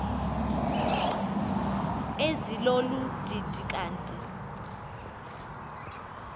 ezilolu didi kanti